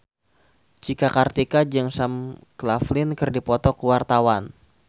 Cika Kartika jeung Sam Claflin keur dipoto ku wartawan